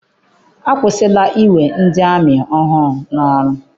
Akwụsila Iwe ndị amị ọhụụ n'ọrụ.